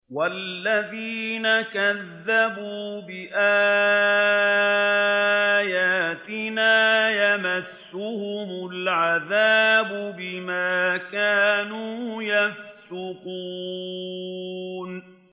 وَالَّذِينَ كَذَّبُوا بِآيَاتِنَا يَمَسُّهُمُ الْعَذَابُ بِمَا كَانُوا يَفْسُقُونَ